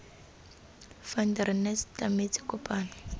van der nest tlametse kopano